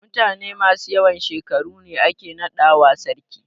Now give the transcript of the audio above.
Mutane masu yawan shekaru ne ake naɗawa sarki.